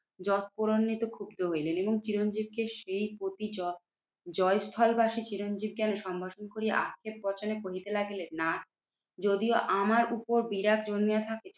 জোটপড়ান্নিত ক্ষুব্ধ হইলেন এবং চিরঞ্জত কে সেই প্রতি জয় জয়স্থল বাসি চিরঞ্জিত কে সম্ভাষণ করিয়া আক্ষেপ বচনে কহিতে লাগিলেন, না যদিও আমার উপর বিরাগ জন্মিয়া থাকে